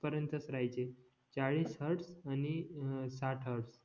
पर्यंतच राहायचे चाळीस हॅर्डस आणि अं साठ हॅर्डस